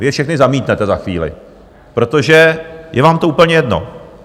Vy je všechny zamítnete za chvíli, protože je vám to úplně jedno.